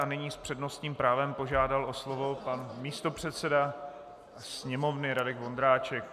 A nyní s přednostním právem požádal o slovo pan místopředseda Sněmovny Radek Vondráček.